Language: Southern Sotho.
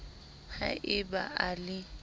ha e ba a le